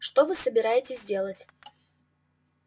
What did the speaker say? что вы собираетесь делать